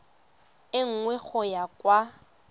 e nngwe go ya kwa